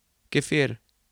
Kefir.